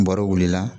N bɔr'o wuli la